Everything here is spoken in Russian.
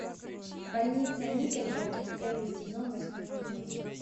больница никербокер первый сезон восьмой эпизод